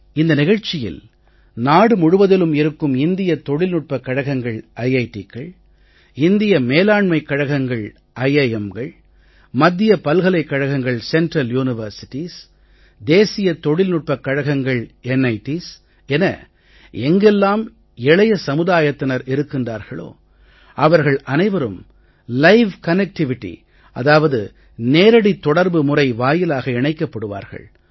இந்த நிகழ்ச்சியில் நாடு முழுவதிலும் இருக்கும் இந்திய தொழில்நுட்பக் கழகங்கள் இந்திய மேலாண்மைக் கழகங்கள் மத்திய பல்கலைக் கழகங்கள் தேசிய தொழில்நுட்பக் கழகங்கள் என எங்கெல்லாம் இளைய சமுதாயத்தினர் இருக்கின்றார்களோ அவர்கள் அனைவரும் லைவ் கனெக்டிவிட்டி அதாவது நேரடித் தொடர்பு முறை வாயிலாக இணைக்கப்படுவார்கள்